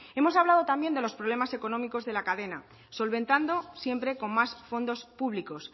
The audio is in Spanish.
hemos hablado también de los problemas económicos de la cadena solventando siempre con más fondos públicos